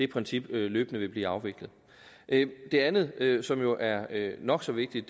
princip løbende vil blive afviklet det andet som jo er nok så vigtigt